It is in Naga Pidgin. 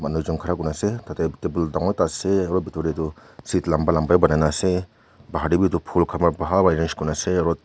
khara kurina ase tatey table dangor ekta ase aro bitor tey toh seat lamba lamba banai na as bahar tey witu phool khan wa bhal wa arrange kurina ase aro--